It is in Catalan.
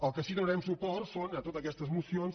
al que sí donarem suport és a totes aquestes esmenes